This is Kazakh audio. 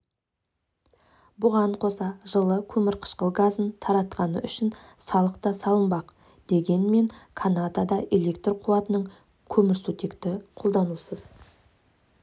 бұған қоса жылы көмірқышқыл газын таратқаны үшін салық та салынбақ дегенмен канадада электр қуатының көмірсутекті қолданусыз